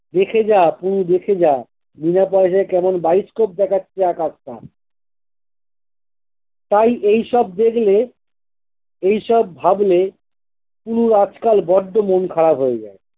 দেখে যা পু দেখে যা, বিনা পয়সায় কেমন bioscope দেখাচ্ছে আকাশটা! তাই এইসব দেখলে, এইসব ভাবলে শুনলে আজকাল বড্ডো মন খারাপ হয়ে যায়।